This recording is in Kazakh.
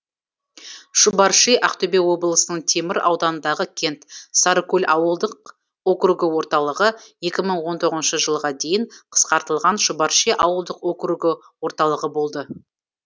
шұбарши ақтөбе облысының темір ауданындағы кент сарыкөл ауылдық округі орталығы екі мың он тоғызыншы жылға дейін қысқартылған шұбарши ауылдық округі орталығы болды